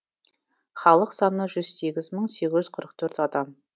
халық саны жүз сегіз мың сегіз жүз қырық төрт адам